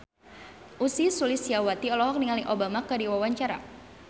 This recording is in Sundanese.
Ussy Sulistyawati olohok ningali Obama keur diwawancara